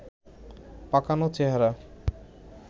পাকানো চেহারা